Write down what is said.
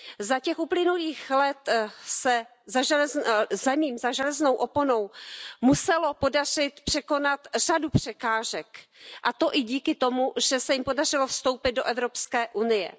Za těch uplynulých let se zemím za železnou oponou muselo podařit překonat řadu překážek, a to i díky tomu, že se jim podařilo vstoupit do Evropské unie.